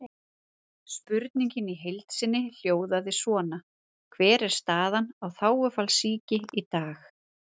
Spurningin í heild sinni hljóðaði svona: Hver er staðan á þágufallssýki í dag?